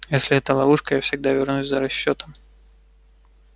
если это ловушка я всегда вернусь за расчётом